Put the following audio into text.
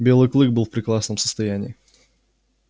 белый клык был в прекрасном состоянии